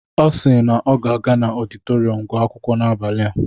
Ọ si na ọ ga-aga n'ọditorịum gụọ akwụkwọ n'abalị a.